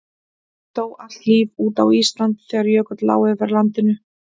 dó allt líf út á íslandi þegar jökull lá yfir landinu